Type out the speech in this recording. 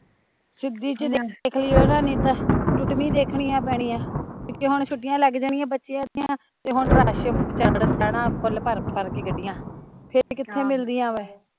ਸਿੱਧੀ ਜਹੀ ਦੇਖਲਿਓ ਨਾ ਨਹੀਂ ਤਾਂ ਟੁੱਟਵੀਂ ਦੇਖਣੀਆ ਪੈਣੀਆ ਕਿਓਕਿ ਹੁਣ ਛੁੱਟੀਆ ਲੱਗ ਜਾਣੀਆ ਬੱਚਿਆ ਦੀਆ ਤੇ ਹੁਣ ਰਸ਼ ਚੜ ਜਣਾ ਫੁਲ ਭਰ ਭਰ ਕੇ ਗੱਡੀਂਆ, ਫਿਰ ਕਿੱਥੇ ਮਿਲਦੀਂਆ ਵਾਂ ਏਹ